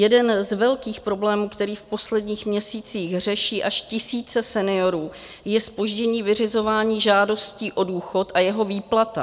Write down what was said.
Jeden z velkých problémů, který v posledních měsících řeší až tisíce seniorů, je zpoždění vyřizování žádostí o důchod a jeho výplata.